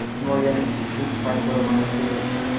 Himoyaning ikkinchi faktori mana shudir.